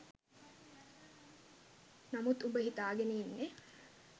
නමුත් උඹ හිතාගෙන ඉන්නේ